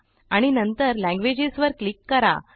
आणि नंतर लँग्वेजेस वर क्लिक करा